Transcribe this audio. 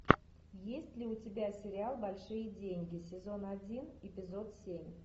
есть ли у тебя сериал большие деньги сезон один эпизод семь